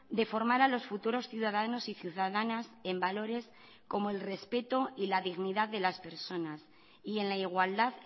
de formar a los futuros ciudadanos y ciudadanas en valores como el respeto y la dignidad de las personas y en la igualdad